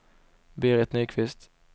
Berit Nyqvist